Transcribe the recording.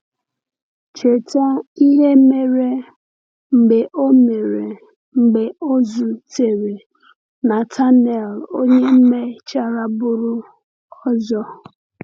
Cheta ihe mere mgbe o mere mgbe o zutere Natanael, onye mechara bụrụ ọzọ.